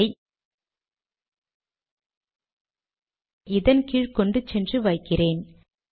இதை இதன் கீழ் கொண்டு சென்று வைக்கிறேன்